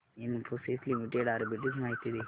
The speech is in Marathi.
इन्फोसिस लिमिटेड आर्बिट्रेज माहिती दे